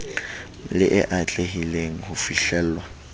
le e atlehileng ho fihlellwa